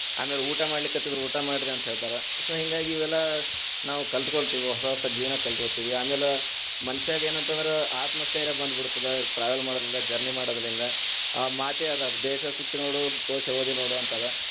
ಆಮೇಲ್‌ ಊಟ ಮಾಡ್ಲಿಕತ್ತಿದ್ರ ಊಟ ಮಾಡ್ರಿ ಅಂತ ಹೇಳ್ತಾರ, so ಹಿಂಗಾಗಿ ಇವೆಲ್ಲಾ ನಾವ್‌ ಕಲ್ತಕೋಂತಿವಿ ಹೊಸಹೊಸ ಜೀವನಾ ಕಲ್ತಕೋಂತೀವಿ, ಆಮ್ಯಾಲ ಮನಷ್ಯಾಗ್‌ ಏನತಂದ್ರ ಆತ್ಮಸ್ತೈಯ೯ ಬಂದ್ಬಿಡ್ತದ, travel ಮಾಡೊದರಿಂದ journey ಮಾಡೋದರಿಂದ ಆ ಮಾತೆ ಅದ ದೇಶ ಸುತ್ತಿ ನೋಡು ಕೋಶ ಓದಿ ನೋಡು ಅಂತದ.